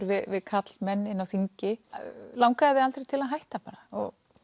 við karlmenn inni á þingi langaði þig aldrei til að hætta og